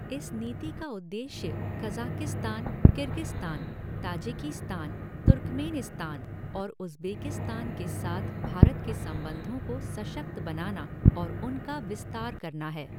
इस नीति का उद्देश्य कज़ाकिस्तान, किर्गिस्तान, ताजिकिस्तान, तुर्कमेनिस्तान और उज़्बेकिस्तान के साथ भारत के संबंधों को सशक्त बनाना और उनका विस्तार करना है।